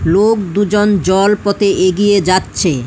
লোক দুজন জল পথে এগিয়ে যাচ্ছে।